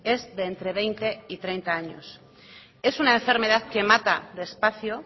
es de entre veinte y treinta años es una enfermedad que mata despacio